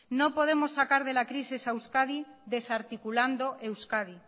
no podemos sacar de la crisis a euskadi desarticulando euskadi